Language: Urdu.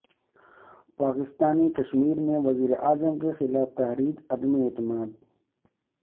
پاکستانی کشمیر میں وزیراعظم کے خلاف تحریک عدم اعتماد